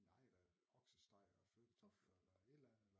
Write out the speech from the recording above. Nej da oksesteg og flødekartofler eller et eller andet